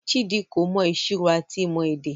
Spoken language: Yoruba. Chidi ko mọ ìṣirò ati ìmọ èdè.